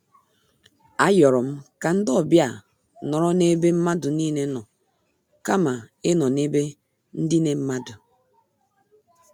A yorom ka ndị ọbịa nọrọ n'ebe mmadụ niile nọ kama ịnọ n' ebe ndine mmadụ.